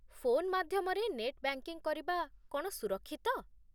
Phone ମାଧ୍ୟମରେ net banking କରିବା କ'ଣ ସୁରକ୍ଷିତ?